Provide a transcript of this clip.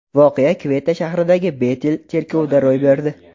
Voqea Kvetta shahridagi Betel cherkovida ro‘y berdi.